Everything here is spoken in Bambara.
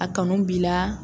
A kanu b'i la.